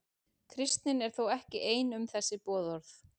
Kristnin er þó ekki ein um þessi boðorð.